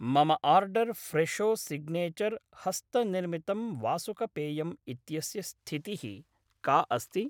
मम order Fresho signature ह्स्तनिर्मितं वासुकपेयम् इत्यस्य स्थितिः का अस्ति?